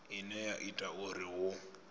ine ya ita uri hu